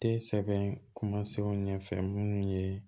Tɛ sɛbɛn ɲɛfɛ minnu ye